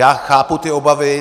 Já chápu ty obavy.